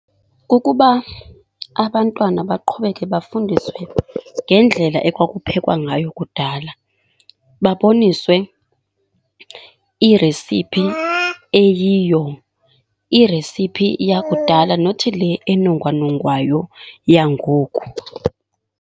Kukuba abantwana baqhubeke bafundiswe ngendlela ekwakuphekwa ngayo kudala, baboniswe iresiphi eyiyo. Iresiphi yakudala nothi le enongwanongwayo yangoku.